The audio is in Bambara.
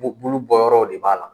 Bu bulu bɔ yɔrɔw de b'a la.